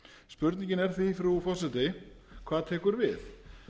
spurningin er því frú forseti hvað tekur við